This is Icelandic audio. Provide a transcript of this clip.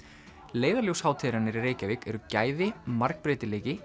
leiðarljós hátíðarinnar í Reykjavík eru gæði margbreytileiki